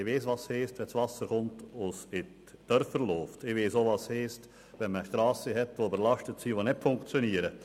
Denn ich weiss, was es heisst, wenn das Wasser kommt und in die Dörfer fliesst oder Strassen überlastet sind und nicht funktionieren.